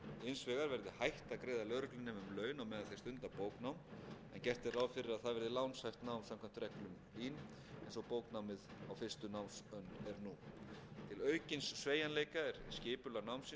gert er ráð fyrir að það verði lánshæft nám samkvæmt reglum lín eins og bóknámið á fyrstu námsönn er nú til aukins sveigjanleika er skipulag námsins í þrjár annir fellt út úr